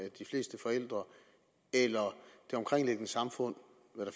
at de fleste forældre det omkringliggende samfund